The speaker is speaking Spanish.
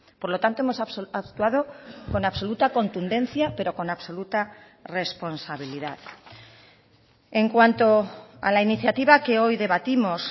por lo tanto hemos actuado con absoluta contundencia pero con absoluta responsabilidad en cuanto a la iniciativa que hoy debatimos